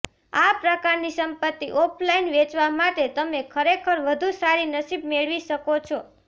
આ પ્રકારની સંપત્તિ ઑફલાઇન વેચવા માટે તમે ખરેખર વધુ સારી નસીબ મેળવી શકો છો